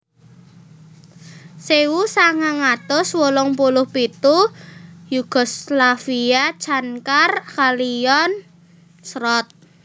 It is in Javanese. Sewu sangang atus wolung puluh pitu Yugoslavia Cankar kaliyan Srot